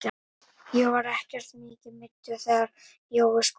Ég var ekkert mikið meiddur þegar Jói skoraði.